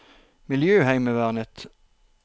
miljøheimevernet